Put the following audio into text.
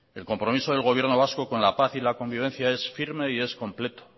el compromiso del gobierno vasco con la paz y la convivencia es firme y es completo